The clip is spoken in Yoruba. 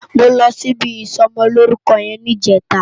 Mó lòsí ibi isòmòlórúkò yèn nijètá